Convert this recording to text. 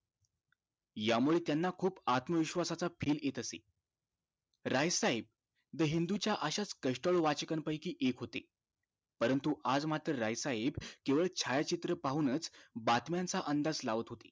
यामुळे त्यांना खुप आत्मविश्वास च feel येत असे राय साहेब the हिंदु च्या अशाच कष्टाळू वाचका पैकी एक होते परंतु आज मात्र राय साहेब केवळ छायाचित्र पाहून च बातम्या च अंदाज लावत होते